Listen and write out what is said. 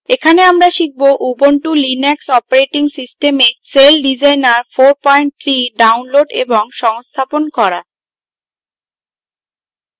এখানে আমরা শিখব: ubuntu linux operating system celldesigner 43 download এবং সংস্থাপন করা